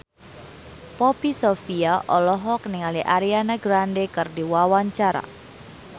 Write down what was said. Poppy Sovia olohok ningali Ariana Grande keur diwawancara